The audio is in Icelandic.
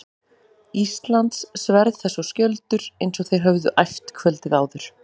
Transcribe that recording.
Íslands, sverð þess og skjöldur, eins og þeir höfðu æft kvöldið áður.